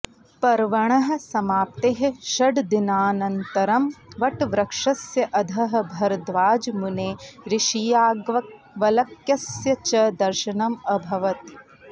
पर्वणः समाप्तेः षड्दिनानन्तरं वटवृक्षस्य अधः भरद्वाजमुनेः ऋषियाज्ञवल्क्यस्य च दर्शनम् अभवत्